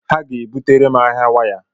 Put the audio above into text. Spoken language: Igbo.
Ha ga-ebutere m ahịa waya